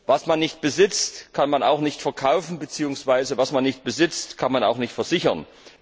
Was man nicht besitzt, kann man auch nicht verkaufen, beziehungsweise was man nicht besitzt, kann man auch nicht versichern.